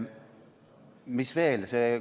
Mis veel?